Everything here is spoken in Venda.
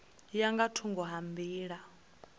ya nga thungo ha nḓila